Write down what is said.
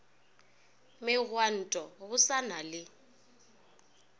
megwanto go sa na le